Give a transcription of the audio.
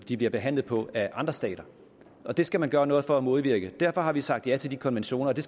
de blev behandlet på af andre stater det skal man gøre noget for at modvirke derfor har vi sagt ja til de konventioner det